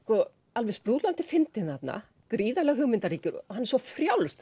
alveg fyndinn þarna gríðarlega hugmyndaríkur og hann er svo frjáls